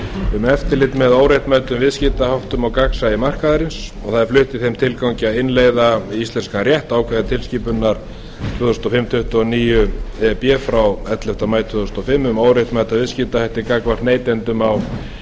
um eftirlit með óréttmætum viðskiptaháttum og gagnsæi markaðarins það er flutt í þeim tilgangi að innleiða í íslenskan rétt ákvæði tilskipunar tvö þúsund og fimm tuttugu og níu e b frá ellefta maí tvö þúsund og fimm um óréttmæta viðskiptahætti gagnvart neytendum á